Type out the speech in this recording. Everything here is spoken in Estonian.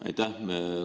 Aitäh!